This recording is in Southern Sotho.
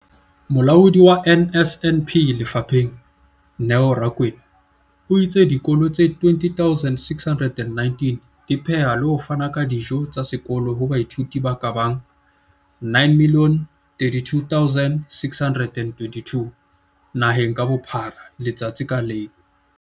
Molaodi wa NSNP lefapheng, Neo Rakwena, o itse dikolo tse 20 619 di pheha le ho fana ka dijo tsa sekolo ho baithuti ba ka bang 9 032 622 naheng ka bophara letsatsi ka leng.